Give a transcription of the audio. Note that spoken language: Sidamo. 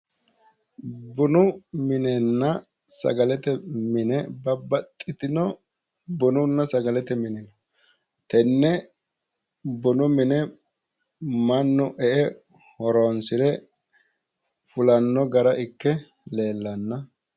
Bunu minenna sagalete mine babbaxxitino bununna sagalete mini no tenne bunu mine mannu e"e horoonsire fulanno gara ikke leellanno